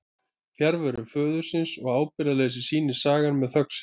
Fjarveru föðurins og ábyrgðarleysi sýnir sagan með þögn sinni.